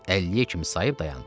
Əlliyə kimi sayıb dayandı.